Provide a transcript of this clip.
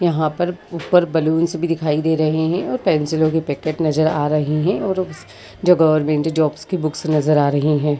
यहाँ पर ऊपर बैलून्स भी दिखाई दे रहे हैं और पेन्सिलों के पैकेट नज़र आ रहे हैं और जो गवर्नमेंट जॉब्स के बुक्स नज़र आ रही हैं।